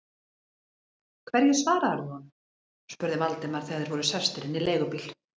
Hverju svaraðir þú honum? spurði Valdimar, þegar þeir voru sestir inn í leigubíl.